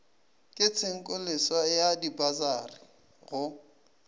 ke tshenkoleswa ya dipasari go